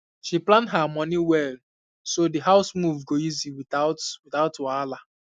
she plan her money well so the house move go easy without without wahala